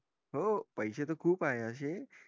हो पैसे ता खूप आहे अशे